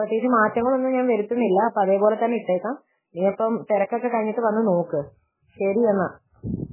പ്രത്യേകിച്ച് മാറ്റങ്ങൾ ഒന്നും ഞാൻ വരുത്തുന്നില്ല അതേപോലെ ഞാൻ ഇട്ടേക്കാം നീയപ്പം തെരക്കൊക്കെ കഴിഞ്ഞിട്ട് വന്നു നോക്ക് ശരി എന്നാൽ